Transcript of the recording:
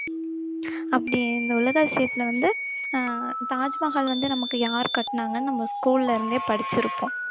அப்படி இந்த உலக அதிசயத்துல வந்து அஹ் தாஜ்மஹால் வந்து நமக்கு யார் கட்டுனாங்கன்னு நம்ம school ல இருந்தே படிச்சிருப்போம்